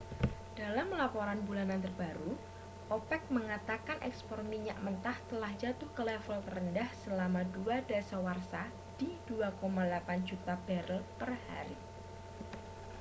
dalam laporan bulanan terbaru opec mengatakan ekspor minyak mentah telah jatuh ke level terendah selama dua dasawarsa di 2,8 juta barel per hari